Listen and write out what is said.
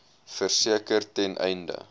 verseker ten einde